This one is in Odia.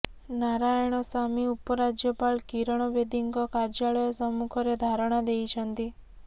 ନାରାୟଣସାମୀ ଉପରାଜ୍ୟପାଳ କିରଣ ବେଦୀଙ୍କ କାର୍ଯ୍ୟାଳୟ ସମ୍ମୁଖରେ ଧାରଣା ଦେଇଛନ୍ତି